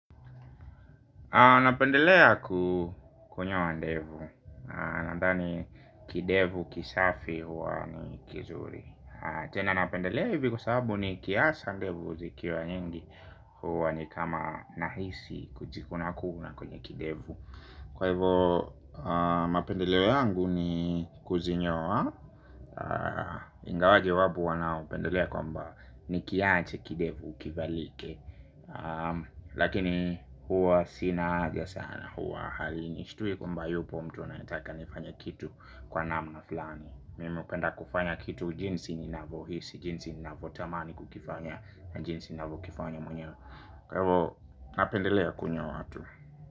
Napendelea kunyoa ndevu, nandhani kidevu kisafi huwa ni kizuri. Tena napendelea hivi kwasababu ni kiasa ndevu zikiwa nyingi huwa ni kama nahisi kujikuna kuna kwenye kidevu. Kwa hivyo, mapendeleo yangu ni kuzinyowa, ingawaje wapo wanao pendelea kwamba ni kianche kidevu kivalike. Lakini huwa sina haja sana huwa halini Shitui kwamba yupo mtu anayetaka nifanya kitu kwa naamna fulani Mimi hupenda kufanya kitu jinsi ni navyohisi. Jinsi ni navotamani kukifanya jinsi ninavyo kifanya mwenye. Kwehivo napendelea kunyoa tu.